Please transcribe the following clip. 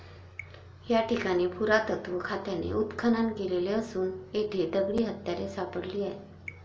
या ठिकाणी पुरातत्त्व खात्याने उत्खनन केले असून येथे दगडी हत्यारे सापडली आहेत.